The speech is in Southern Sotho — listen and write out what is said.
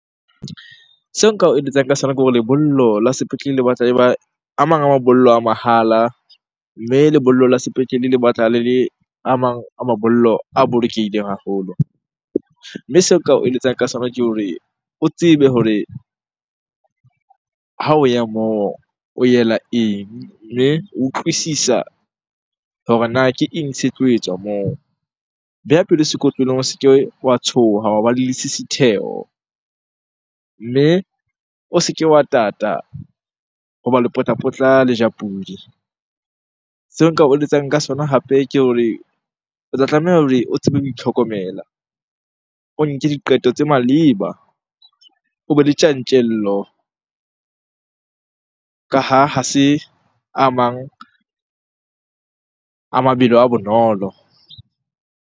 Seo nka o eletsang ka sona ke hore lebollo la sepetlele le batla e ba a mang a mabollo a mahala. Mme lebollo la sepetlele le batla le a mang a mabollo a bolokehileng haholo. Mme seo nka o eletsang ka sona ke hore o tsebe hore ha o ya moo, o yela eng? Mme o utlwisisa hore na ke eng se tlo etswa moo? Beha pelo sekotlolong, o se ke wa tshoha wa ba le lesisitheho. Mme o se ke wa tata hoba lepotlapotla le ja pudi. Seo nka o eletsang ka sona hape ke hore o tla tlameha hore o tsebe ho itlhokomela. O nke diqeto tse maleba, o be le tjantjello ka ha ha se a mang a mabelo a bonolo.